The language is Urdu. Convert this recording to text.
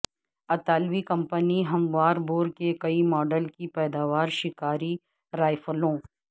اطالوی کمپنی ہموار بور کے کئی ماڈل کی پیداوار شکاری رائفلوں